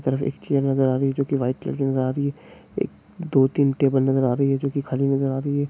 एक तरफ एक चैर नज़र आ रही है जो की वाइट कलर की नजर आ रही है एक दो तीन टेबल नजर आ रही है जो कि खाली नजर आ रही है।